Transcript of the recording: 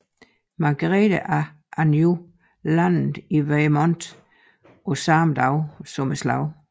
Margrete af Anjou landede i Weymouth på selv samme dag som slaget